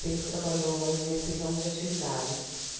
sempre trabalhou nesse ramo de atividade.